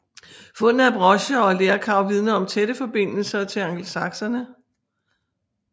Fundene af brocher og lerkar vidner om tætte forbindelser til angelsaksere